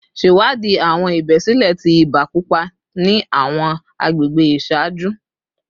Ṣewadii awọn ibesile ti iba pupa ni awọn agbegbe iṣaaju